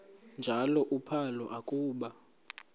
njalo uphalo akuba